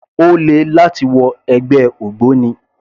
Ó le láti wọ ẹgbẹ́ ògbóni